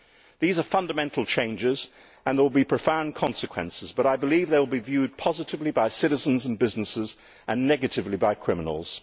These are fundamental changes, and there will be profound consequences. However, I believe they will be viewed positively by citizens and businesses and negatively by criminals.